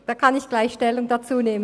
Dazu kann ich gleich Stellung nehmen.